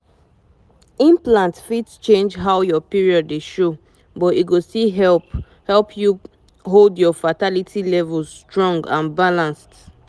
implant fit change how your period dey show but e go still help help you hold your fertility levels strong and balanced.